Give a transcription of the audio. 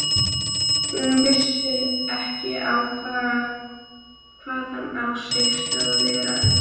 Hún vissi ekki hvaðan á sig stóð veðrið.